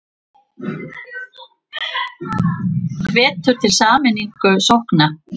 Hvetur til sameiningar sókna